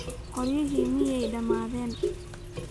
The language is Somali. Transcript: Qoryihii miyeey dhammaaden?